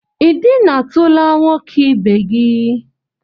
I dina tula nwoke ibe gi?